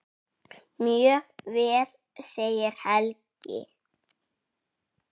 Mjög vel segir Helgi.